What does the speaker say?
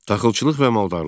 Taxılçılıq və maldarlıq.